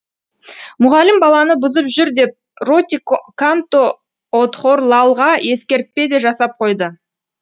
мұғалім баланы бұзып жүр деп ротиканто одхорлалға ескертпе де жасап қойды